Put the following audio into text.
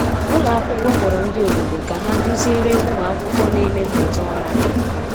Ụlọ akwụkwọ kpọrọ ndị obodo ka ha duziere ụmụ akwụkwọ na-eme mmụta ọrụ aka.